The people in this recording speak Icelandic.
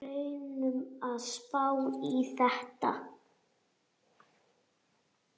Reynum að spá í þetta.